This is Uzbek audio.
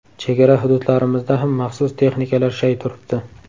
Chegara hududlarimizda ham maxsus texnikalar shay turibdi.